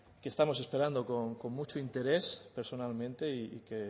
que estamos esperando con mucho interés personalmente y que